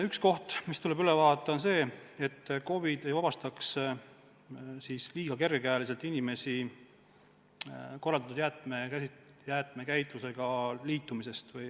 Üks asi, mis tuleb üle vaadata, on see, et KOV-id ei vabastaks liiga kergekäeliselt inimesi korraldatud jäätmekäitlusega liitumisest.